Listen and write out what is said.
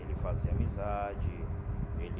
Ele fazia amizade, ele...